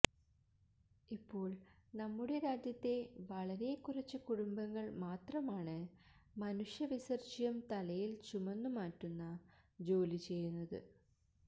ഇപ്പോൾ നമ്മുടെ രാജ്യത്തെ വളരെ കുറച്ചു കുടുംബങ്ങൾ മാത്രമാണ് മനുഷ്യ വിസർജ്ജ്യം തലയിൽ ചുമന്നുമാറ്റുന്ന ജോലി ചെയ്യുന്നത്